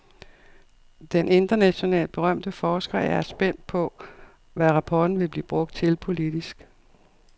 Den internationalt berømte forsker er er spændt på, hvad rapporten vil blive brugt til politisk.